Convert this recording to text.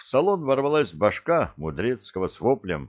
в салон ворвалась башка мудрецкого с воплем